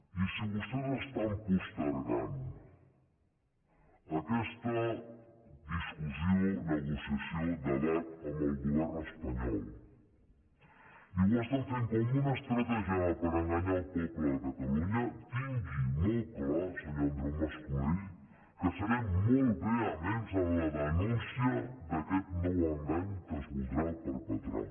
i si vostès estan postergant aquesta discussió negociació o debat amb el govern espanyol i ho estan fent com una estratègia per enganyar el poble de catalunya tingui molt clar senyor andreu mas colell que serem molt vehements en la denúncia d’aquest nou engany que es voldrà perpetrar